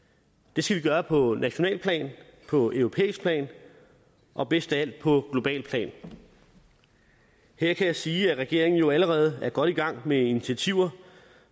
det skal vi gøre på nationalt plan på europæisk plan og bedst af alt på globalt plan her kan jeg sige at regeringen jo allerede er godt i gang med initiativer